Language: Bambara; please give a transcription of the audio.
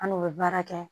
An n'u bɛ baara kɛ